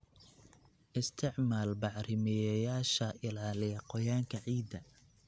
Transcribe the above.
Isticmaal bacrimiyeyaasha ilaaliya qoyaanka ciidda.